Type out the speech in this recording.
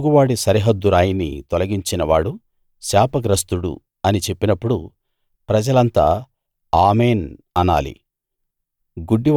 తన పొరుగువాడి సరిహద్దు రాయిని తొలగించినవాడు శాపగ్రస్తుడు అని చెప్పినప్పుడు ప్రజలంతా ఆమేన్‌ అనాలి